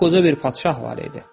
Qoca lap qoca bir padşah var idi.